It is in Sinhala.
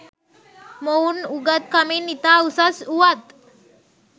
මොවුන් උගත්කමින් ඉතා උසස් වූවත්